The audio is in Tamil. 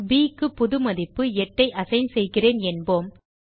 ப் க்கு புது மதிப்பு 8 ஐ அசைன் செய்கிறேன் என்போம்